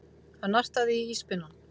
Hann nartaði í íspinnann.